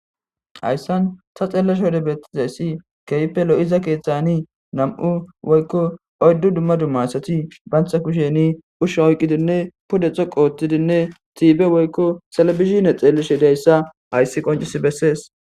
hayssan ta xeelashe wode bettizayssi keehippe lo7iza keeththani nam7u woykko oyddu dumma dumma asati bantha kusheni usha oyqqidinne podetho qoottidinne tiibe woykko talabizine xeelishe dayssa hayssi qoncisi bessees